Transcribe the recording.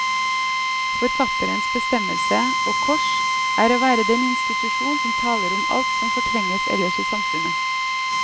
Forfatterens bestemmelse, og kors, er å være den institusjon som taler om alt som fortrenges ellers i samfunnet.